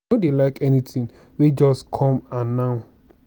i no dey like anything wey just come and now